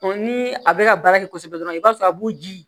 ni a bɛ ka baara kɛ kosɛbɛ dɔrɔn i b'a sɔrɔ a b'u ji